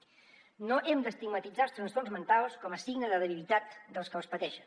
no hem d’estigmatitzar els trastorns mentals com a signe de debilitat dels que els pateixen